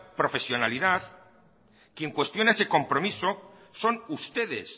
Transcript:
profesionalidad quien cuestione ese compromiso son ustedes